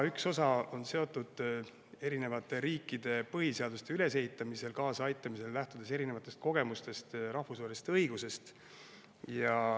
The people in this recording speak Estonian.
Üks osa on seotud ka erinevate riikide põhiseaduste ülesehitamisele kaasaaitamisega, lähtudes erinevatest kogemustest ja rahvusvahelisest õigusest.